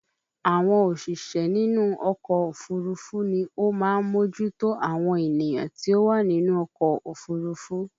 Àwọn òṣìṣẹ́ nínú ọkọ̀ òfúrufú ni ó máa ń mójú tó àwọn ènìyàn tí ó wà nínú ọkọ̀ òfurufú